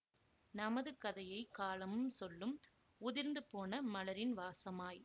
நமது கதையை காலமும் சொல்லும் உதிர்ந்து போன மலரின் வாசமாய்